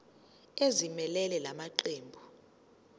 ezimelele la maqembu